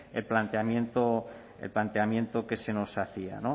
el planteamiento que se nos hacía